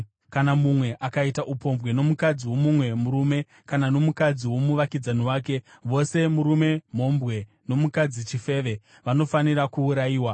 “ ‘Kana mumwe akaita upombwe nomukadzi womumwe murume, kana nomukadzi womuvakidzani wake, vose murume mhombwe nomukadzi chifeve vanofanira kuurayiwa.